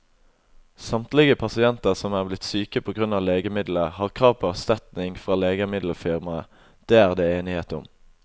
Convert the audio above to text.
Samtlige pasienter som er blitt syke på grunn av legemiddelet, har krav på erstatning fra legemiddelfirmaet, det er det enighet om.